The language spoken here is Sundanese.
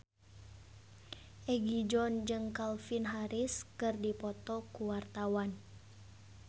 Egi John jeung Calvin Harris keur dipoto ku wartawan